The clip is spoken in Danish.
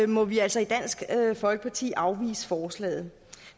må vi altså i dansk folkeparti afvise forslaget